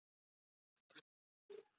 Get ég hjálpað spyr ég.